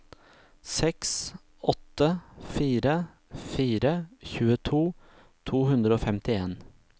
seks åtte fire fire tjueto to hundre og femtien